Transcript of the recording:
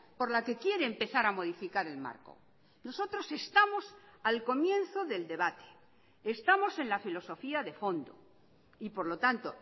por la que quiere empezar a modificar el marco nosotros estamos al comienzo del debate estamos en la filosofía de fondo y por lo tanto